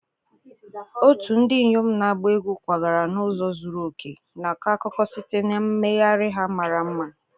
otu ndị inyom na-agba egwu kwagara n'ụzọ zuru oke, na-akọ akụkọ site na mmegharị ha mara mma.